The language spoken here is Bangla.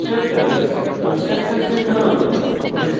constructors কন্সট্রাকটরসের ধরন